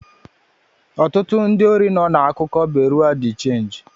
Ọtụtụ ndị órí nọ na-akuku Bureau de change